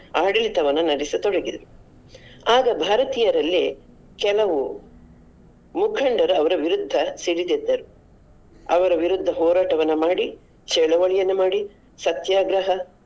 ಆಡಳಿತವನ್ನು ನಡೆಸತೊಡಗಿದರು. ಆಗ ಭಾರತೀಯರಲ್ಲೇ ಕೆಲವು ಮುಖಂಡರು ಅವರ ವಿರುದ್ಧ ಸಿಡಿದೆದ್ದರು ಅವರ ವಿರುದ್ಧ ಹೋರಾಟವನ್ನ ಮಾಡಿ ಚಳವಳಿಯನ್ನು ಮಾಡಿ ಸತ್ಯಾಗ್ರಹ.